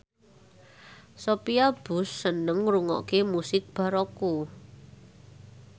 Sophia Bush seneng ngrungokne musik baroque